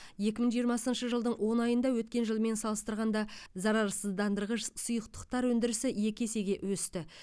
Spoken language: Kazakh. екі мың жиырмасыншы жылдың он айында өткен жылмен салыстырғанда зарарсыздандырғыш сұйықтықтар өндірісі екі есеге өсті